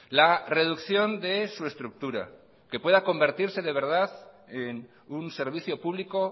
la reducción de su estructura que pueda convertirse de verdad en un servicio público